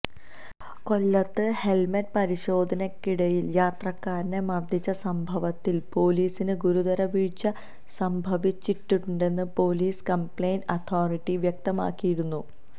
കൊല്ലത്ത് ഹെല്മെറ്റ് പരിശോധനയ്ക്കിടയില് യാത്രക്കാരനെ മര്ദ്ദിച്ച സംഭവത്തില് പൊലീസിന് ഗുരുതരവീഴ്ച സംഭവിച്ചിട്ടുണ്ടെന്ന് പൊലീസ് കംപ്ലയിന്റ് അതോരിറ്റി വ്യക്തമാക്കിയിരുന്നു